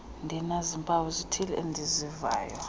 ndinazimpawu zithile endizivayo